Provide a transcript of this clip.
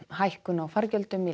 hækkun á fargjöldum í